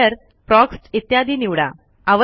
mirror प्रॉक्स्ट इत्यादी निवडा